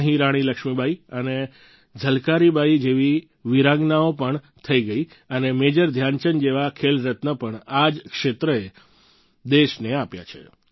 અહીં રાણી લક્ષ્મીબાઈ અને ઝલકારી બાઈ જેવી વીરાંગનાઓ પણ થઈ ગઈ અને મેજર ધ્યાનચંદ જેવા ખેલરત્ન પણ આ જ ક્ષેત્રે દેશને આપ્યા છે